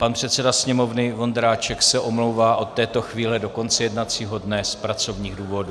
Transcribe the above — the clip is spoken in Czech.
Pan předseda Sněmovny Vondráček se omlouvá od této chvíle do konce jednacího dne z pracovních důvodů.